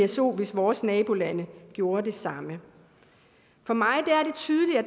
psoen hvis vores nabolande gjorde det samme for mig